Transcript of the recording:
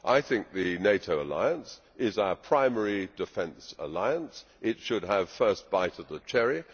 I think the NATO alliance is our primary defence alliance, it should have first bite at the cherry.